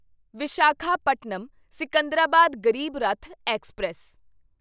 Visakhapatnam Secunderabad Garib Rath express